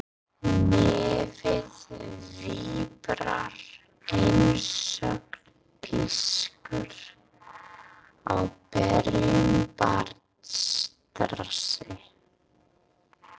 Nefið víbrar einsog pískur á berum barnsrassi.